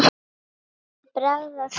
Það væri bragð af því!